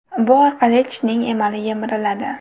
Bu orqali tishning emali yemiriladi.